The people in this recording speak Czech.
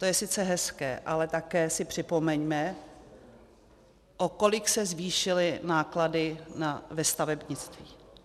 To je sice hezké, ale také si připomeňme, o kolik se zvýšily náklady ve stavebnictví.